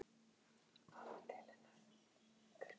Lánið fékk ég hins vegar aldrei.